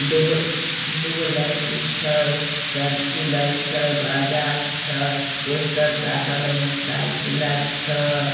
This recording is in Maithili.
दू गो दू गो लड़की छै सेलफ़ी लय छै बाज़ार छै पोस्टर साटल हय मोटरसाइकिल छै।